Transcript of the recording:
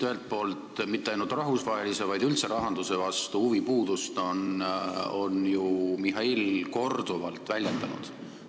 Ühelt poolt, huvipuudust mitte ainult rahvusvahelise, vaid üldse rahanduse vastu on Mihhail ju korduvalt väljendanud.